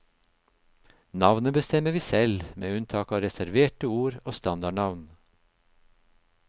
Navnet bestemmer vi selv, med unntak av reserverte ord og standardnavn.